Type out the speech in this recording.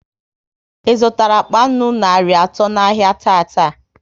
ị zụtara akpa nnu narị atọ n'ahia tata?